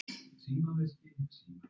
sama árs.